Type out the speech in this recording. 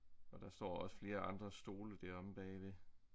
Og der står også flere andre stole dér omme bagved